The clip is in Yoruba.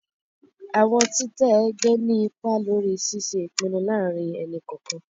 Awọn titẹ ẹgbẹ ni ipá lórí ṣiṣe ipinnu láàrin ẹni kọọkan